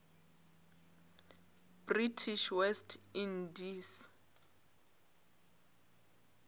british west indies